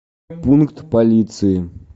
пункт полиции